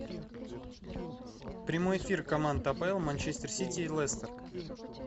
прямой эфир команд апл манчестер сити и лестер